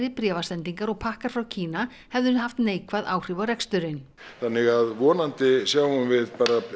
bréfasendingar og pakkar frá Kína hefðu haft neikvæð áhrif á reksturinn þannig að vonandi sjáum við